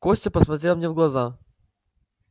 костя посмотрел мне в глаза